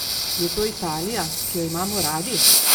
Je to Italija, ki jo imamo radi?